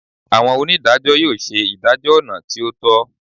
Awọn onidajọ yoo ṣe idajọ ọna ti o tọ